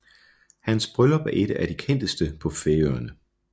Hans bryllup er et at de kendteste på Færøerne